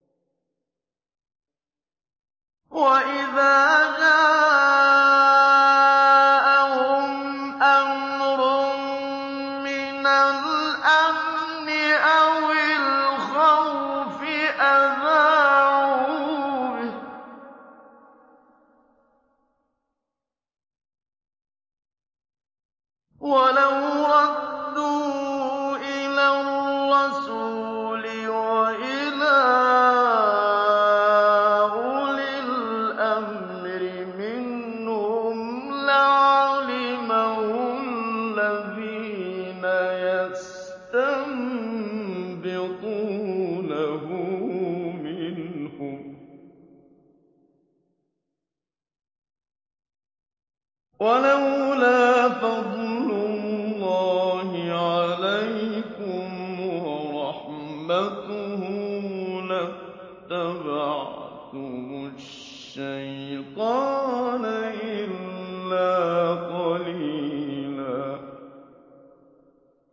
وَإِذَا جَاءَهُمْ أَمْرٌ مِّنَ الْأَمْنِ أَوِ الْخَوْفِ أَذَاعُوا بِهِ ۖ وَلَوْ رَدُّوهُ إِلَى الرَّسُولِ وَإِلَىٰ أُولِي الْأَمْرِ مِنْهُمْ لَعَلِمَهُ الَّذِينَ يَسْتَنبِطُونَهُ مِنْهُمْ ۗ وَلَوْلَا فَضْلُ اللَّهِ عَلَيْكُمْ وَرَحْمَتُهُ لَاتَّبَعْتُمُ الشَّيْطَانَ إِلَّا قَلِيلًا